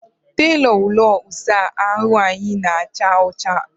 Tailụ ụlọ ịsa ahụ anyị na-acha ọcha na agba.